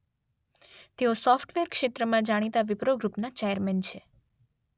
તેઓ સોફ્ટવેર ક્ષેત્રમાં જાણીતા વીપ્રો ગ્રુપના ચેરમેન છે.